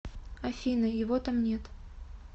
афина его там нет